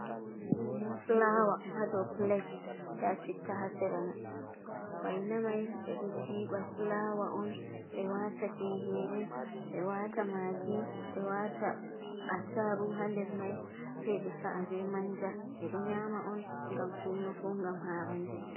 Fulawa hadou piglet, nda citta hasera mai, waina mai ɓe ɗoo jiiɓa fulawa on ɓe wata tingere ɓe wata magi ɓe wata attarugu hander mai sei ɓe sa’a be manja, ɓe ɗo nyama on gam suuno ko gam arande.